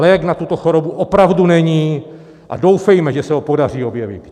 Lék na tuto chorobu opravdu není a doufejme, že se ho podaří objevit.